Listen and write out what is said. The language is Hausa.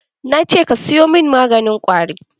Nace ka siyo min maganin ƙwari!